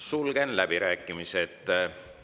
Sulgen läbirääkimised.